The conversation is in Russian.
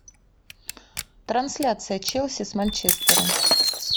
трансляция челси с манчестером